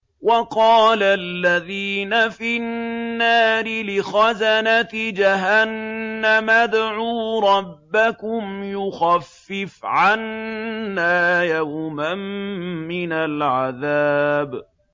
وَقَالَ الَّذِينَ فِي النَّارِ لِخَزَنَةِ جَهَنَّمَ ادْعُوا رَبَّكُمْ يُخَفِّفْ عَنَّا يَوْمًا مِّنَ الْعَذَابِ